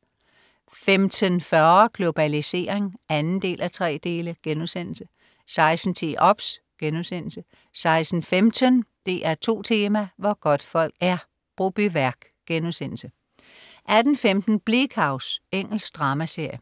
15.40 Globalisering 2:3* 16.10 OBS* 16.15 DR2 Tema: Hvor godtfolk er. Brobyværk* 18.15 Bleak House. Engelsk dramaserie